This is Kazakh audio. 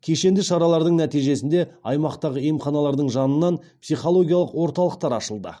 кешенді шаралардың нәтижесінде аймақтағы емханалардың жанынан психологиялық орталықтар ашылды